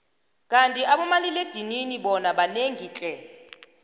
kandi abanomalila edinini bona banengi tle